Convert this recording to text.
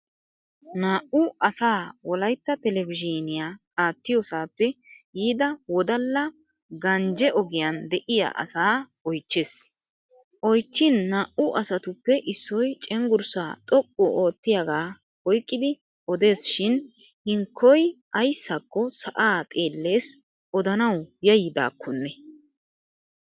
Naa'u asaa wolaytta televizhiiniya attiiyoosappe yiida wodala ganjje ogiyan de'iya asaa oychches. Oychchin naa'u asatuppe issoy cenggurssaa xoqqu oottiyaagaa oyqqidi odees shin hinkkoy ayssakko sa'aa xeelles odanawu yayyidaakkone.